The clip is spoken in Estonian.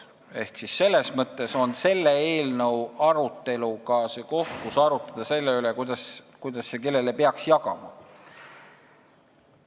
Ehk see eelnõu on see koht, kus arutleda selle üle, kuidas ja kellele peaks raha jagama.